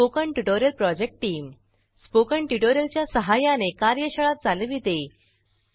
spoken tutorial project team spoken tutorial च्या सहाय्याने कार्यशाळा चालविते